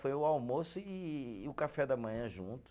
Foi o almoço e o café da manhã junto.